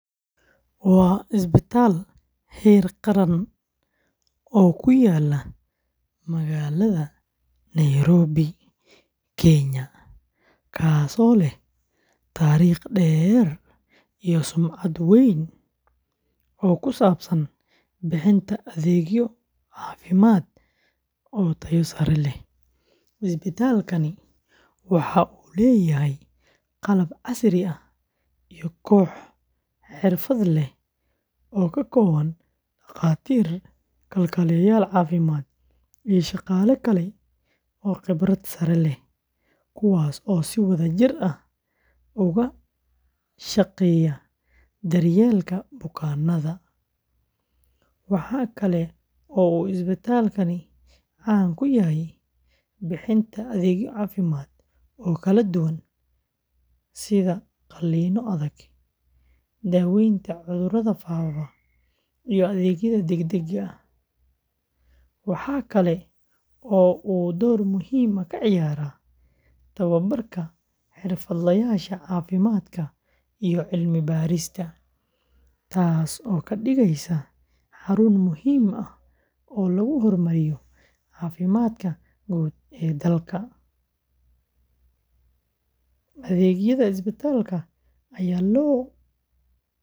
Waa isbitaal heer qaran oo ku yaalla magaalada Nairobi, Kenya, kaasoo leh taariikh dheer iyo sumcad weyn oo ku saabsan bixinta adeegyo caafimaad oo tayo sare leh. Isbitaalkani waxa uu leeyahay qalab casri ah iyo koox xirfad leh oo ka kooban dhakhaatiir, kalkaaliyayaal caafimaad, iyo shaqaale kale oo khibrad sare leh, kuwaas oo si wadajir ah uga shaqeeya daryeelka bukaanada. Waxa kale oo uu isbitaalku caan ku yahay bixinta adeegyo caafimaad oo kala duwan, sida qaliinno adag, daaweynta cudurrada faafa, iyo adeegyada degdegga ah, waxa kale oo uu door muhiim ah ka ciyaaraa tababarka xirfadlayaasha caafimaadka iyo cilmi-baarista, taasoo ka dhigaysa xarun muhiim ah oo lagu horumariyo caafimaadka guud ee dalka. Adeegyada isbitaalka ayaa loo qaabeeyey.